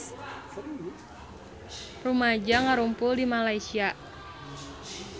Rumaja ngarumpul di Malaysia